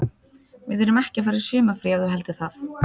Við erum ekki að fara í sumarfrí ef þú heldur það.